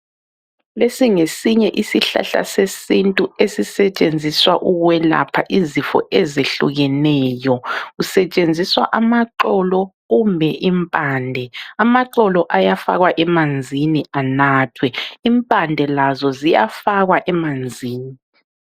Lesi ngesinye isihlahla sesintu esisetshenziswa ukwelapha izifo ezehlukeneyo. Kusetshenziswa amaxolo kumbe impande. Amaxolo ayafakwa emanzini enathwe. lmpande lazo ziyafakwa emanzini.